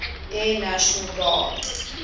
air national guard